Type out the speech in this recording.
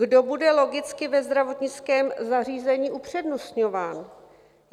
Kdo bude logicky ve zdravotnickém zařízení upřednostňován?